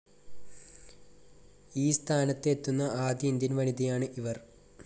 ഈ സ്ഥാനത്ത് എത്തുന്ന ആദ്യ ഇന്ത്യൻ വനിതയാണ് ഇവർ.